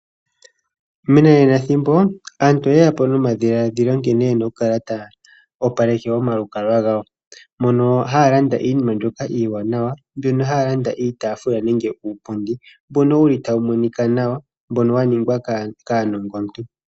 Menanenathimbo aantu oye ya po nomadhiladhilo nkene ye na oku kala taya opaleke omalukalwa gawo mono haya landa iinima mbyoka iiwanawa, mbyono haya landa iitaafula nenge uupundi mbono wuli tawu monika nawa, mbono wa ningwa kaanongontu.